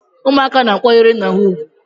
ụmụaka na-akwanyere nna ha ugwu